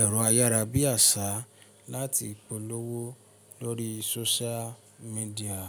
ẹ̀rọ ayárabíàṣá láti polówó lórí social media.